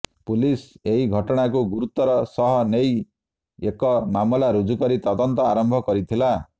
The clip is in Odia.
ପୁଲିସ ଏହି ଘଟଣାକୁ ଗୁରୁତ୍ବର ସହ ନେଇ ଏକ ମାମଲା ରୁଜୁ କରି ତଦନ୍ତ ଆରମ୍ଭ କରିଥିଲା